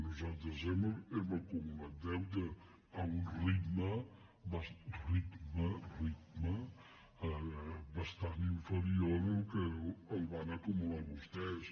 nosaltres hem acumulat deute a un ritme ritme ritme bastant inferior del que el van acumular vostès